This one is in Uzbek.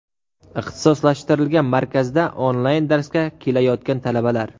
Ixtisoslashtirilgan markazda onlayn darsga kelayotgan talabalar.